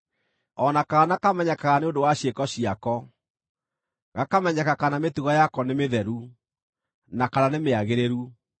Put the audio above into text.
O na kaana kamenyekaga nĩ ũndũ wa ciĩko ciako, gakamenyeka kana mĩtugo yako nĩ mĩtheru, na kana nĩ mĩagĩrĩru.